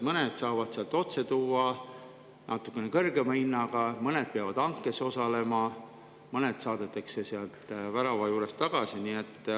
Mõned saavad tuua otse ja natukene kõrgema hinnaga, mõned peavad hankes osalema, mõned saadetakse värava juurest tagasi.